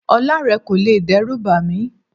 Ọlá rẹ kò lè dẹ́rùbà mí.